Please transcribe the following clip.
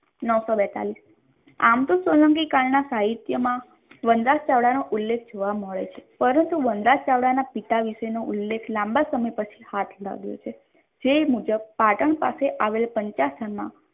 નવસો બેતાલીશ આમ તો સોલંકી કાલના સાહિત્યમાં વનરાજ ચાવડા નો ઉલ્લેખ જોવા મળે છે પરંતુ વનરાજ ચાવડા ના પિતા વિશે તેનો ઉલ્લેખ લાંબા સમય પછી હાથ લાગ્યો છે જે મુજબ પાટણ પાસે આવેલા ચંપારણમાં